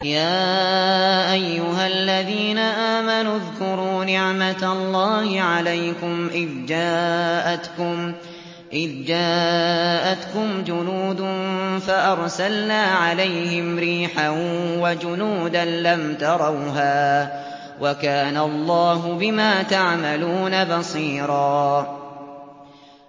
يَا أَيُّهَا الَّذِينَ آمَنُوا اذْكُرُوا نِعْمَةَ اللَّهِ عَلَيْكُمْ إِذْ جَاءَتْكُمْ جُنُودٌ فَأَرْسَلْنَا عَلَيْهِمْ رِيحًا وَجُنُودًا لَّمْ تَرَوْهَا ۚ وَكَانَ اللَّهُ بِمَا تَعْمَلُونَ بَصِيرًا